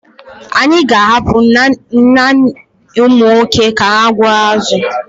Anyị ka ahapụ naanị ụmụ nwoke ka ha gbuo azụ.